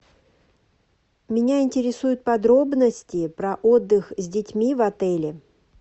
меня интересуют подробности про отдых с детьми в отеле